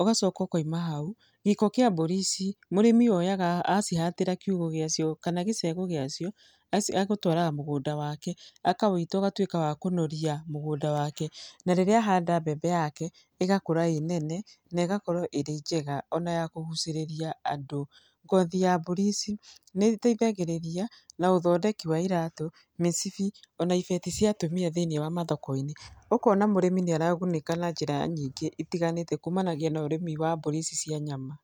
ũgacoka ũkaima hau, gĩko kĩa mbũri ici mũrĩmi oyaga acihatĩra kiugo gĩacio, kana gĩcego gĩacio, aci agũtwaraga mũgũnda wake, akawĩita ũgatuĩka wa kũnoria mũgũnda wake, na rĩrĩa ahanda mbembe yake ĩgakũra ĩnene, na ĩgakorwo ĩrĩ njega ona ya kũgucĩrĩria andũ, ngothi ya mbũri ici nĩ ĩteithagĩrĩria na ũthondeki wa iratũ, mĩcibi, ona ibeti cia atumia thĩinĩ wa mathoko-inĩ, ũkona mũrĩmi nĩ aragunĩka na njĩra nyingĩ itiganĩte kũmanagia na ũrĩmi wa mbũri ici cĩa nyama.